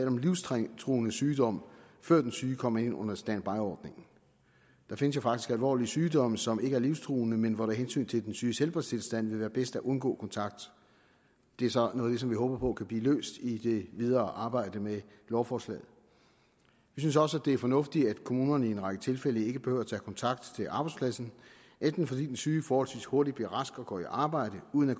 om livstruende sygdom før den syge kommer ind under standbyordningen der findes faktisk alvorlige sygdomme som ikke er livstruende men hvor det af hensyn til den syges helbredstilstand vil være bedst at undgå kontakt det er så noget som vi håber kan blive løst i det videre arbejde med lovforslaget vi synes også det er fornuftigt at kommunerne i en række tilfælde ikke behøver tage kontakt til arbejdspladsen enten fordi den syge forholdsvis hurtigt bliver rask og går i arbejde uden at